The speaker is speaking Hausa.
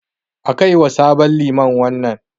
A kaiwa sabon liman wannan.